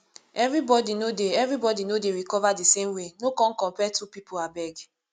everybody no dey everybody no dey recover di same way no come compare two pipo abeg